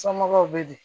Somɔgɔw bɛ di